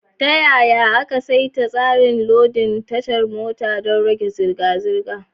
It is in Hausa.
Ta yaya aka saita tsarin lodin tashar mota don rage zirga-zirga?